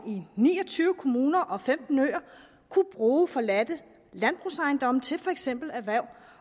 i ni og tyve kommuner og på femten øer kunne bruge forladte landbrugsejendomme til for eksempel erhverv